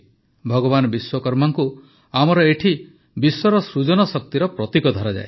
ଭଗବାନ ବିଶ୍ୱକର୍ମାଙ୍କୁ ଆମର ଏଠି ବିଶ୍ୱର ସୃଜନ ଶକ୍ତିର ପ୍ରତୀକ ଧରାଯାଏ